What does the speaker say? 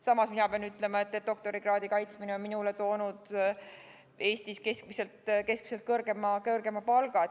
Samas, mina pean ütlema, et doktorikraadi kaitsmine on minule toonud Eestis keskmisest kõrgema palga.